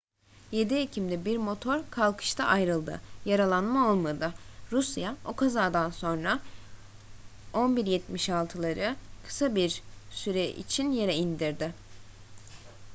7 ekim'de bir motor kalkışta ayrıldı yaralanma olmadı rusya o kazadan sonra il-76'leri kısa bir süre için yere indirdi